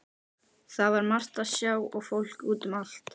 Það var margt að sjá og fólk út um allt.